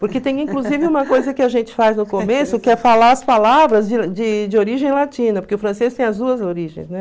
Porque tem, inclusive, uma coisa que a gente faz no começo, que é falar as palavras de de origem latina, porque o francês tem as duas origens, né?